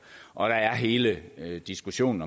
og der er hele diskussionen